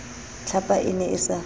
tlhapa e ne e sa